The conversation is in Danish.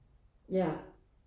Ja